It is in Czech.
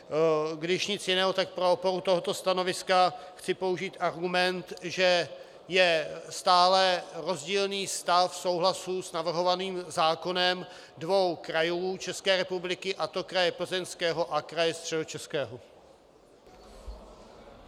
Když nic jiného, tak pro podporu tohoto stanoviska chci použít argument, že je stále rozdílný stav souhlasu s navrhovaným zákonem dvou krajů České republiky, a to kraje Plzeňského a kraje Středočeského.